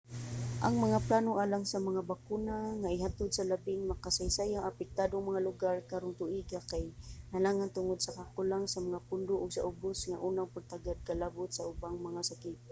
ang mga plano alang sa mga bakuna nga ihatod sa labing makasaysayang apektadong mga lugar karong tuiga kay nalangan tungod sa kakulang sa mga pondo ug sa ubos nga unang pagtagad kalabot sa ubang mga sakit